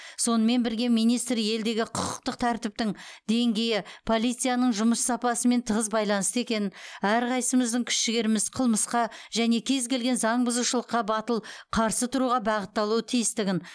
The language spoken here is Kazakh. сонымен бірге министр елдегі құқықтық тәртіптің деңгейі полицияның жұмыс сапасымен тығыз байланысты екенін әрқайсымыздың күш жігеріміз қылмысқа және кез келген заң бұзушылықтарға батыл қарсы тұруға бағытталуы тиістігін